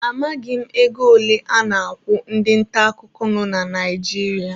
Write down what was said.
Amaghị m ego ole a na-akwụ ndị nta akụkọ nọ na Naijiria.